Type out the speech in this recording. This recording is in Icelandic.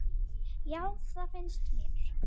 Já, það finnst mér.